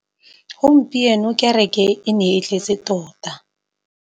Gompieno kêrêkê e ne e tletse tota.